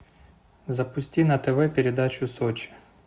запусти на тв передачу сочи